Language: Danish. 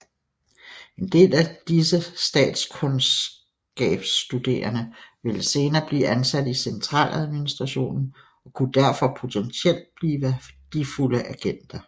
En del af disse statskundskabsstuderende ville senere blive ansat i centraladministrationen og kunne derfor potentielt blive værdifulde agenter